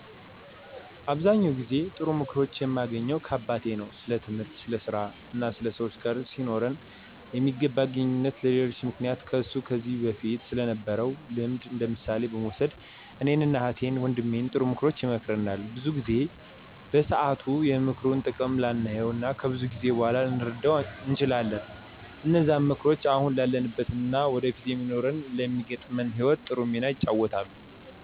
አብዛኛውን ጊዜ ጥሩ ምክሮችን የማገኘው ከአባቴ ነው። ስለትምህርት፣ ስለ ስራ እና ሰወች ጋር ሊኖረን ስለሚገባ ግንኙነት እና በሌሎችም ምክንያቶች ከሱ ከዚ በፊት ስለነበረው ልምድ እንደምሳሌ በመውሰድ እኔን እና እህት ወንድሜን ጥሩ ምክሮችን ይመክረናል። ብዙውን ጊዜ በሰአቱ የምክሩን ጥቅም ላናየው እና ከብዙ ጊዜ በኋላ ልንረደው እንችላለን። እነዛም ምክሮች አሁን ላለንበት እና ወደፊት ለሚኖረን እና ለሚገጥመን ህይወት ጥሩ ሚና ይጫወታሉ።